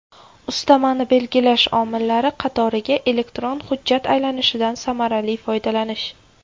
Ustamani belgilash omillari qatoriga elektron hujjat aylanishidan samarali foydalanish.